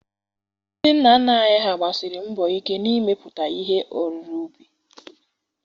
Ndị nna nna anyị ha gbasiri mbọ ike n'imepụta ihe oriri ubi.